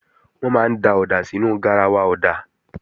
Wọ́n máa ń da ọ̀dà sínú garawa ọ̀dà